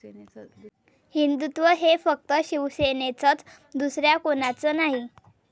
हिंदुत्व हे फक्त शिवसेनेचंच, दुसऱ्या कोणाचं नाही'